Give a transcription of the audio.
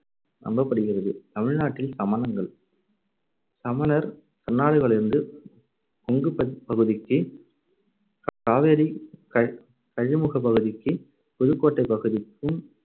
நம்பப்படுகிறது. தமிழ் நாட்டில் சமணங்கள் சமணர் கர்நாடகாவிலிருந்து கொங்குப்ப~ பகுதிக்கு காவேரி க~கஜமுகப்பகுதிக்கு புதுக்கோட்டைப் பகுதிக்கும்.